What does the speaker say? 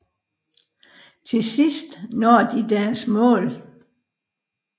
Til sidst når de deres mål